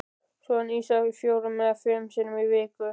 Soðin ýsa fjórum eða fimm sinnum í viku.